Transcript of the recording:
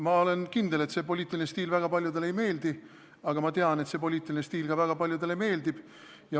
Ma olen kindel, et see poliitiline stiil väga paljudele ei meeldi, aga ma tean, et see poliitiline stiil ka väga paljudele meeldib.